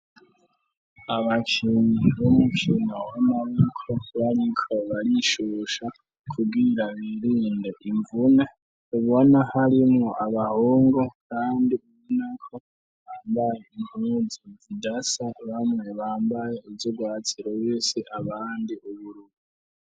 Abakinyi b'umukino wamaboko bariko barishusha kugira birinde imvune ubona harimwo abahungu kandi ubunako bambaye inpuzi zidasa bamwe bambaye ibyubatsiro b'isi abandi uburubu.